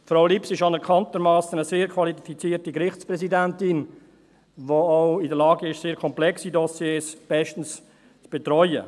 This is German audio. Frau Lips ist anerkanntermassen eine sehr qualifizierte Gerichtspräsidentin, die auch in der Lage ist, sehr komplexe Dossiers bestens zu betreuen.